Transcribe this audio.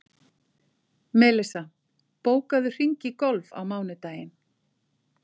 Melissa, bókaðu hring í golf á mánudaginn.